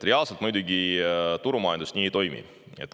Reaalselt turumajandus muidugi nii ei toimi.